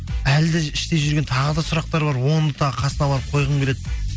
әлі де іште жүрген тағы да сұрақтар бар оны тағы қасына барып қойғым келеді